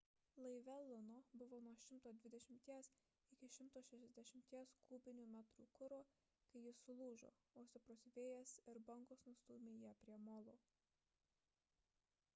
laive luno buvo 120–160 kubinių metrų kuro kai jis sulūžo o stiprus vėjas ir bangos nustūmė jį prie molo